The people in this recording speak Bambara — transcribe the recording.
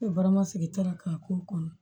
sigi tara ka k'o kɔnɔ